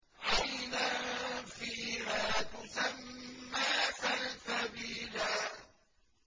عَيْنًا فِيهَا تُسَمَّىٰ سَلْسَبِيلًا